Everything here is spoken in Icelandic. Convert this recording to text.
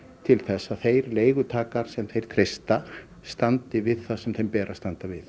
til þess að þeir leigutakar sem þeir treysta standi við það sem þeim ber að standa við